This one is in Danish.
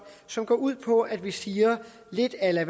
som går ud på at vi siger lidt a la